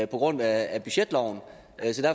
på grund af budgetloven